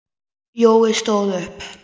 Jói stóð upp.